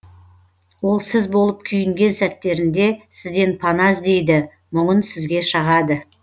ол сіз болып күйінген сәттерінде сізден пана іздейді мұңын сізге шағады